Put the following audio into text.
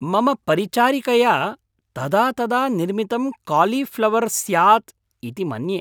मम परिचारिकया तदा तदा निर्मितं कालीफ़्लवर् स्यात्‌ इति मन्ये।